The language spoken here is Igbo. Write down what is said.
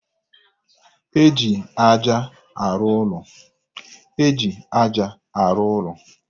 E ji aja arụ ụlọ